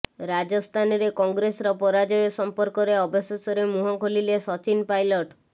ରାଜସ୍ଥାନରେ କଂଗ୍ରେସର ପରାଜୟ ସଂପର୍କରେ ଅବଶେଷରେ ମୁହଁ ଖୋଲିଲେ ସଚିନ ପାଇଲଟ